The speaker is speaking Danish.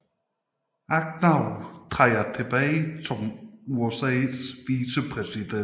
Agnew træder tilbage som vicepræsident for USA